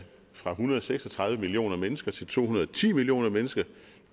fra en hundrede og seks og tredive millioner mennesker til to hundrede og ti millioner mennesker